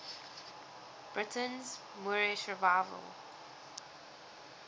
britain's moorish revival